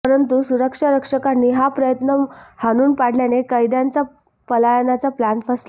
परंतु सुरक्षा रक्षकांनी हा प्रयत्न हाणून पाडल्याने कैद्यांचा पलायनाचा प्लॅन फसला